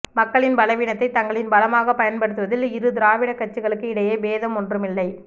மக்களின் பலவீனத்தை தங்களின் பலமாக பயன் படுத்துவதில் இரு திராவிட கட்சிகளுக்கு இடையே பேதம் ஒன்றும் இல்லை